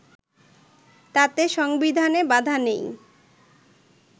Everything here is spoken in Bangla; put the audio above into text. তাতে সংবিধানে বাধা নেই